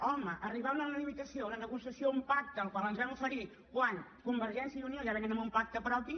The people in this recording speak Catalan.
home arribar a una negociació a un pacte al qual ens vam oferir quan convergència i unió ja vénen amb un pacte propi